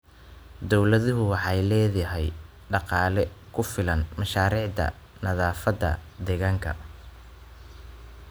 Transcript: Dawladdu waxay la'dahay dhaqaale ku filan mashaariicda nadaafadda deegaanka.